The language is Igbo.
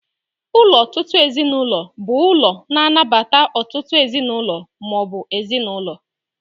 Ụlọ ọtụtụ ezinụlọ bụ ụlọ na-anabata ọtụtụ ezinụlọ ma ọ bụ ezinụlọ.